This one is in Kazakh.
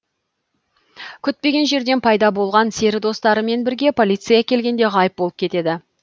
күтпеген жерден пайда болған сері достарымен бірге полиция келгенде ғайып болып кетеді